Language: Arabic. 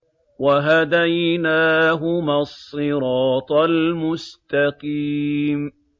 وَهَدَيْنَاهُمَا الصِّرَاطَ الْمُسْتَقِيمَ